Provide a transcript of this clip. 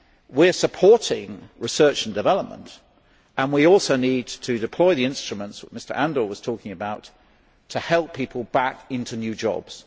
We are supporting research and development and we also need to deploy the instruments which Mr Andor was talking about to help people back into new jobs.